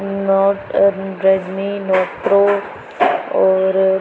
note Redmi note pro और --